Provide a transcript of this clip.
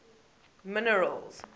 minerals